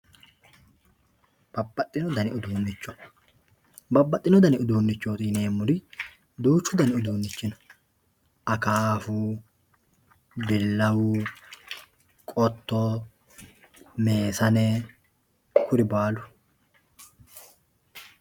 Babbaxxino dani uduunicho, babbaxxino dani uduunchoti yineemmori duuchu dani uduunchi no Akafu, Bilawu, Qotto, Meessane kuri baalu.